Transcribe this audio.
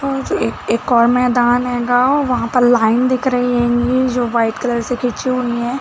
और एक एक और मैदान है गा वह पर लाइन दिख रही होगीं जो वाइट कलर से खींची हुई है।